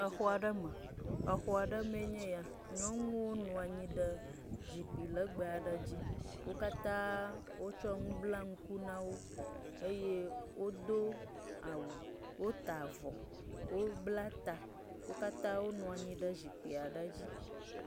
Le xɔ aɖe me. Exɔ aɖe me enye ya. Nyɔnuwo nɔ anyi ɖe zikpui legbe aɖe dzi. Wo katã wotsɔ nu bla ŋku na wo eye wodo awu. Wota avɔ, wobla ta. Wo katã wonɔ anyi ɖe zikpui aɖe dzi.